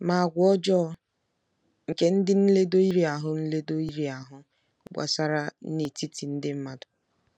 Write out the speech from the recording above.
Ma àgwà ọjọọ nke ndị nledo iri ahụ nledo iri ahụ gbasara n’etiti ndị mmadụ.